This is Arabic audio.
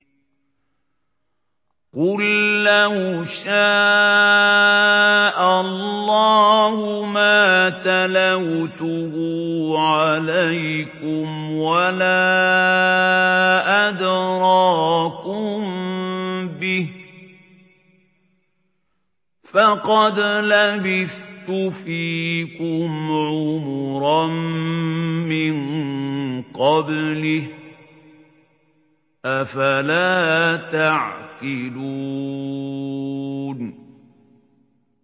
قُل لَّوْ شَاءَ اللَّهُ مَا تَلَوْتُهُ عَلَيْكُمْ وَلَا أَدْرَاكُم بِهِ ۖ فَقَدْ لَبِثْتُ فِيكُمْ عُمُرًا مِّن قَبْلِهِ ۚ أَفَلَا تَعْقِلُونَ